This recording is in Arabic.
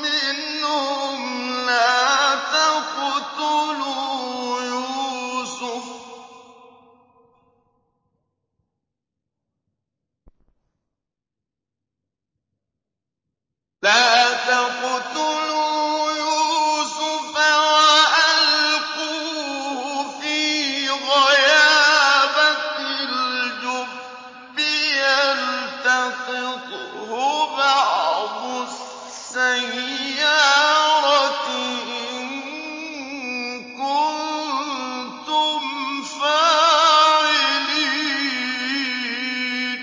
مِّنْهُمْ لَا تَقْتُلُوا يُوسُفَ وَأَلْقُوهُ فِي غَيَابَتِ الْجُبِّ يَلْتَقِطْهُ بَعْضُ السَّيَّارَةِ إِن كُنتُمْ فَاعِلِينَ